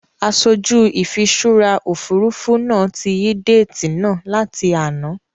Aṣojú ìfiṣúra Òfurufú náà tí yí déètì náà láti àná.